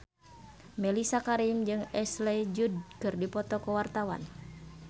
Mellisa Karim jeung Ashley Judd keur dipoto ku wartawan